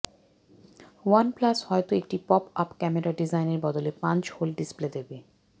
OnePlus হয়ত একটি pop up camera ডিজাইনের বদলে পাঞ্চ হোল ডিসপ্লে দেবে